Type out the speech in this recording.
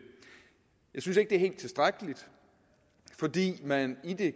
jeg synes ikke det er helt tilstrækkeligt fordi man i de